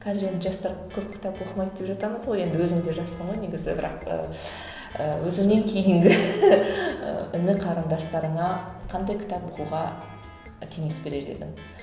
қазір енді жастар көп кітап оқымайды деп жатамыз ғой енді өзің де жассың ғой негізі бірақ ыыы өзіңнен кейінгі іні қарындастарыңа қандай кітап оқуға ы кеңес берер едің